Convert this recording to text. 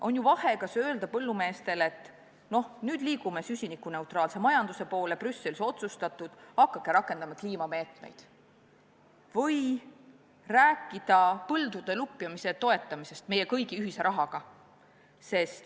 On ju vahe, kas öelda põllumeestele, et nüüd liigume süsinikuneutraalse majanduse poole, Brüsselis on nii otsustatud, hakake võtma kliimameetmeid, või rääkida põldude lupjamise toetamisest meie kõigi ühise rahaga.